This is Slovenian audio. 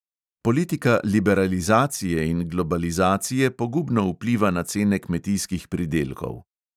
Politika liberalizacije in globalizacije pogubno vpliva na cene kmetijskih pridelkov.